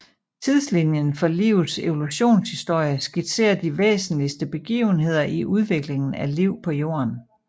Tidslinjen for livets evolutionshistorie skitserer de væsentligste begivenheder i udviklingen af liv på Jorden